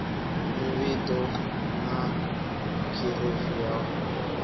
ni vito na kherefu ya